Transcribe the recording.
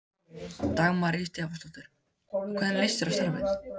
Dagmar Ýr Stefánsdóttir: Og hvernig líst þér á starfið?